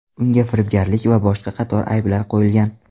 Unga firibgarlik va boshqa qator ayblar qo‘yilgan.